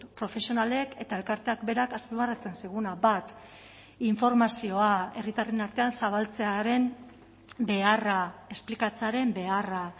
profesionalek eta elkarteak berak azpimarratzen ziguna bat informazioa herritarren artean zabaltzearen beharra esplikatzearen beharra